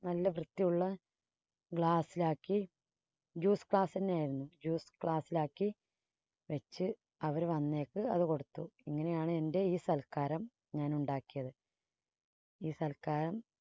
നല്ല വൃത്തിയുള്ള glass ിലാക്കി ജ്യൂസ് glass തന്നെയായിരുന്നു. juice glass ിൽ ആക്കി വെച്ച് അവര് വന്നേപ്പോൾ അതു കൊടുത്തു. ഇങ്ങനെയാണ് എൻറെ ഈ സൽക്കാരം ഞാനുണ്ടാക്കിയത്. ഈ സൽക്കാരം